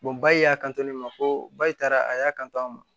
ba y'a kanto ne ma ko ba taara a y'a kanto a ma